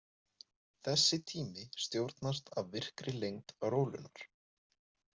Þessi tími stjórnast af virkri lengd rólunnar.